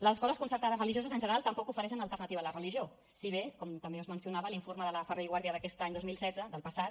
les escoles concertades religioses en general tampoc ofereixen alternativa a la religió si bé com també es mencionava a l’informe de la ferrer i guàrdia d’aquest any dos mil setze del passat